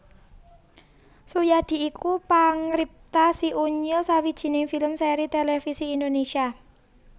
Suyadi iku pangripta Si Unyil sawijining film sèri tèlèvisi Indonésia